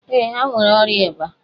Ee, ha nwere ọrịa ịba.